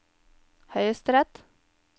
høyesterett